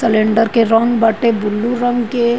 Cylinder के रंग बाटे बुलु रंग के।